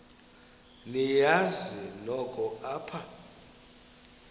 niyazi nonk apha